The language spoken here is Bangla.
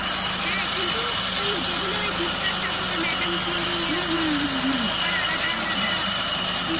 হ্যাঁ কিন্তু ওই যেগুলো ওই বিদ্যাসাগর madam Cury এরকম সবার আলাদা আলাদা বিবেকানন্দ